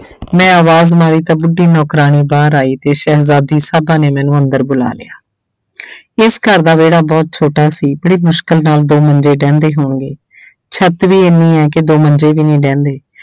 ਮੈਂ ਆਵਾਜ਼ ਮਾਰੀ ਤਾਂ ਬੁੱਢੀ ਨੌਕਰਾਣੀ ਬਾਹਰ ਆਈ ਤੇ ਸ਼ਹਿਜਾਦੀ ਸਾਹਿਬਾਂ ਨੇ ਮੈਨੂੰ ਅੰਦਰ ਬੁਲਾ ਲਿਆ ਇਸ ਘਰ ਦਾ ਵਿਹੜਾ ਬਹੁਤ ਛੋਟਾ ਸੀ ਬੜੀ ਮੁਸ਼ਕਲ ਨਾਲ ਦੋ ਮੰਜੇ ਡਹਿੰਦੇ ਹੋਣਗੇ ਛੱਤ ਵੀ ਇੰਨੀ ਹੈ ਕਿ ਦੋ ਮੰਜੇ ਵੀ ਨੀ ਡਹਿੰਦੇ।